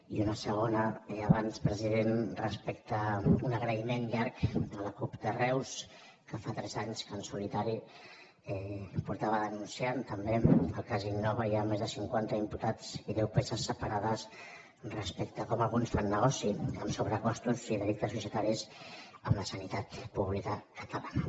i una segona abans president respecte a un agraïment llarg a la cup de reus que fa tres anys que en solitari havia estat denunciant també el cas innova hi ha més de cinquanta imputats i deu peces separades respecte a com alguns fan negoci amb sobrecostos i delictes societaris amb la sanitat pública catalana